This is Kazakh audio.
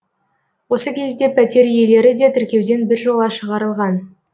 осы кезде пәтер иелері де тіркеуден біржола шығарылған